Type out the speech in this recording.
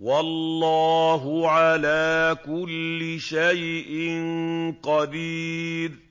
وَاللَّهُ عَلَىٰ كُلِّ شَيْءٍ قَدِيرٌ